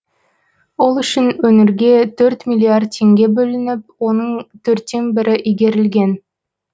ол үшін өңірге төрт миллиард теңге бөлініп оның төрттен бірі игерілген